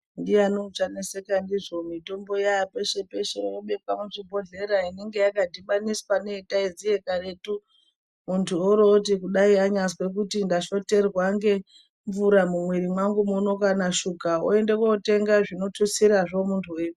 Ndiani uchanetseka ndizvo mitombo yaa peshe peshe yoo bekwa muzvi bhodhlera inenge yakadhibaniswa neyatiziiya karetu . Muntu urowoti kudai anyazwe kuti ndashoterwa ngemvura mumwiri mwangu muno kanashuga oende kotenga zvinotutsirazvo muntu weipona.